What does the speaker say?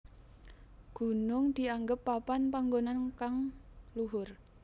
Gunung dianggep papan panggonan kang luhur